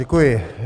Děkuji.